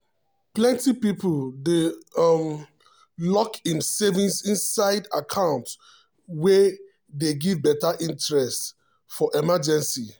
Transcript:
plenty people dey um lock im saving inside um account wey dey give better interest um for emergency.